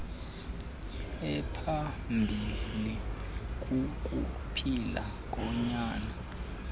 ephambilli kukuphila konyana